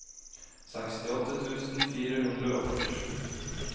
sekstiåtte tusen fire hundre og førtisju